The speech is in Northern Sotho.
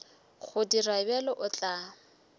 go dira bjalo o tla